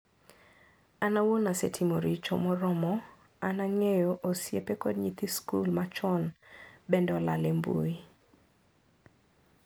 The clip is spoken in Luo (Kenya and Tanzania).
Am awuon asetimo richo moromo an angeyo osiepe kod nyithi skul machon pende olal e mbui.